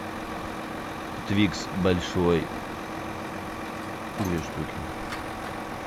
твикс большой две штуки